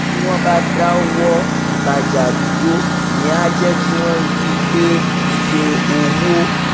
tí wọ́n bá dáwọ́ ìtajà dúró ìyẹn á jẹ́ kí wọ́n rí i pé iye owó